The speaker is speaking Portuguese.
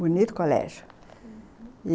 Bonito colégio, uhum.